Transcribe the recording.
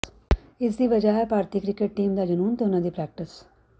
ਇਸ ਦੀ ਵਜ੍ਹਾ ਹੈ ਭਾਰਤੀ ਕ੍ਰਿਕਟ ਟੀਮ ਦਾ ਜਨੂੰਨ ਤੇ ਉਨ੍ਹਾਂ ਦੀ ਪ੍ਰੈਕਟਿਸ